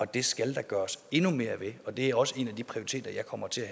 det skal der gøres endnu mere ved og det er også en af de prioriteter jeg kommer til